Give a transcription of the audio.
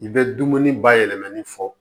I bɛ dumuni bayɛlɛmani fɔ